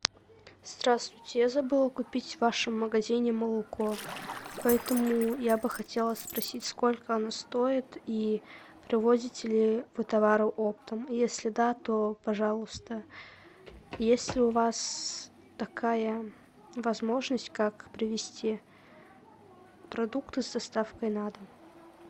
здравствуйте я забыла купить в вашем магазине молоко поэтому я бы хотела спросить сколько оно стоит и привозите ли вы товары оптом если да то пожалуйста есть ли у вас такая возможность как привезти продукты с доставкой на дом